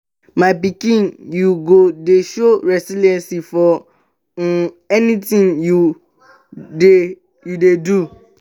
my pikin you go dey show resilience for um anything you dey you dey do